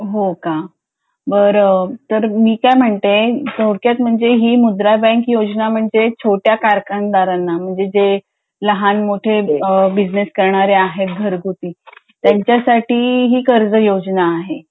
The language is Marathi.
हो का तर बरं मी काय म्हणते थोडक्यात ही मुद्रा बँक योजना म्हणजे छोट्या कारखानदारांना म्हणजे जे लहान मोठे बिझनेस करणार आहेत घरगुती त्यांच्यासाठी ही कर्ज योजना आहे